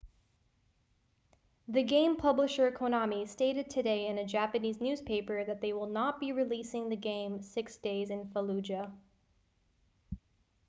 the game publisher konami stated today in a japanese newspaper that they will not be releasing the game six days in fallujah